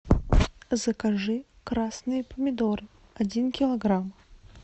закажи красные помидоры один килограмм